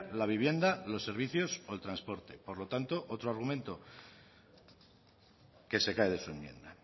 la vivienda los servicios o transporte por lo tanto otro argumento que se cae de su enmienda